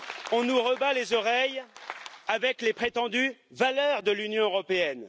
On nous rebat les oreilles avec les prétendues valeurs de l'Union européenne.